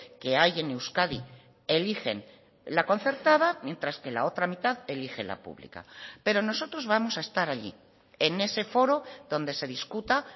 que hay en euskadi eligen la concertada mientras que la otra mitad elige la pública pero nosotros vamos a estar allí en ese foro donde se discuta